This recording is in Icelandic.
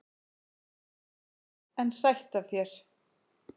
En sætt af þér!